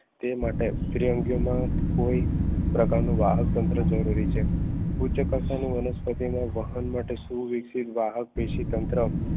તે માટે દ્વિઅંગીયો માં કોઈ કોઈ પ્રકારનું વાહક તંત્ર જરૂરી છે ઉચ્ચ કક્ષાનો વનસ્પતિમાં વાહક વિશે તંત્ર